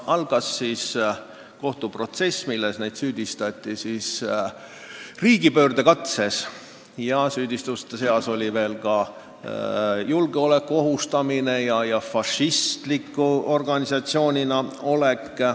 Algas kohtuprotsess, milles neid süüdistati riigipöördekatses, julgeoleku ohustamises ja fašismimeelsuses.